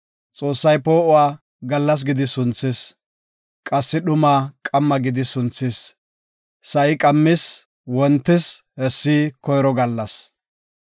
Xoossay poo7uwa, “Gallas” gidi sunthis; qassi dhumaa “Qamma” gidi sunthis. Sa7i qammis wontis; hessi koyro gallas.